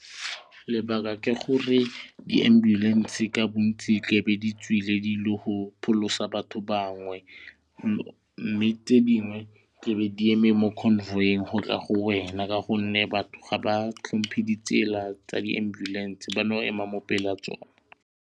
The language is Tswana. Lebaka ke gore di-ambulance ka bontsi tlebe di tswile di ile go pholosa batho bangwe mme tse dingwe ke be di eme mo convoy-eng gotla go wena ka gonne batho ga ba tlhompe ditsela tsa di-ambulance ba no ema mo pele ga tsona.